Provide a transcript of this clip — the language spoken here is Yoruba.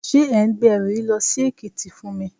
Ṣé ẹ̀ ń gbé ẹrù yìí lọ sí Èkìtì fún mi?